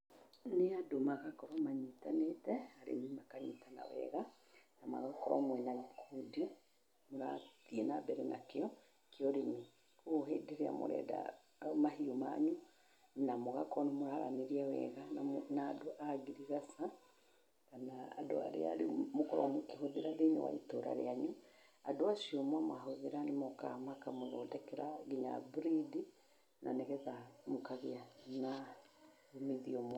Nĩ andũ magakorwo manyitanĩte rĩu makanyitana wega na magakorwo mwĩna gĩkundi mũrathiĩ na mbere nakĩo kĩa ũrĩmi, koguo hĩndĩ ĩrĩa mũrenda mahiũ manyu na mũgakorwo nĩ mũraranĩria wega na andũ a ngirigaca kana andũ arĩa rĩu mũkoragwo mũkĩhũthĩra thĩiniĩ wa itũra rĩanyu, andũ acio mwamahũthĩra nĩmokaga makamũthondekera nginya mburindi na nĩgetha mũkagĩa na mĩthiomo.